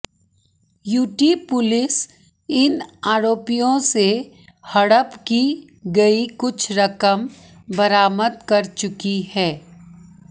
UT police इन आरोपियों से हड़प की गई कुछ रकम बरामद कर चुकी है